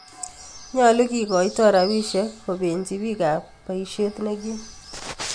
Nyolu kigoito rabisiek kobenchi biikaab bayiisyeet nekiim